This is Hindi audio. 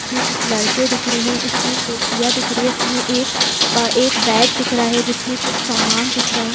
इसमें कुछ लाइटे दिख रहे इसमें कुर्सियाँ दिख रही इसमें एक एक बैट दिख रहा है जिसमें कुछ सामान दिख रहा है।